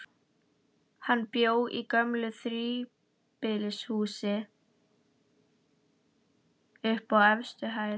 Hann bjó í gömlu þríbýlishúsi, uppi á efstu hæð.